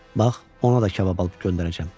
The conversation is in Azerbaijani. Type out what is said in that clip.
Bax, ona da kabab alıb göndərəcəm.